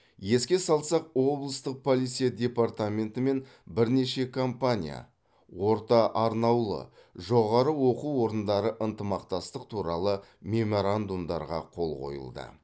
еске салсақ облыстық полиция департаменті мен бірнеше компания орта арнаулы жоғары оқу орындары ынтымақтастық туралы меморандумдарға қол қойылды